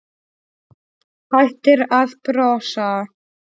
Hættir að brosa.